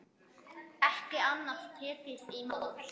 Ekki annað tekið í mál.